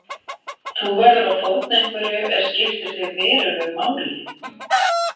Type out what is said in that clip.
Þú verður að fórna einhverju er skiptir þig verulegu máli.